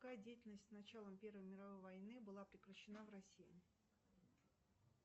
какая деятельность с началом первой мировой войны была прекращена в россии